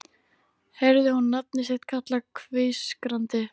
Heyrði hún nafnið sitt kallað hvískrandi